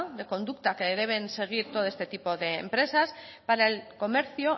de conducta que deben seguir todo este tipo de empresas para el comercio